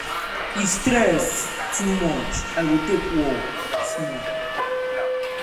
if stress too much i go take walk small.